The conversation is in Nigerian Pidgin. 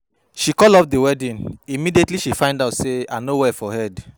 She call off the wedding immediately she find out say I no well for head